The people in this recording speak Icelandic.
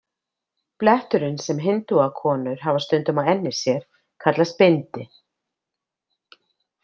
Bletturinn sem hindúakonur hafa stundum á enni sér kallast bindi.